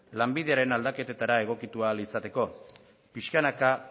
lanbideen aldaketetara egokitu ahal izateko pixkanaka